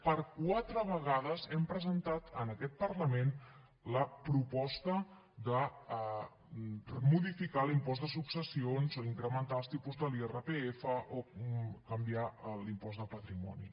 per quatre vegades hem presentat en aquest parlament la proposta de modificar l’impost de successions o incrementar els tipus de l’irpf o canviar l’impost de patrimoni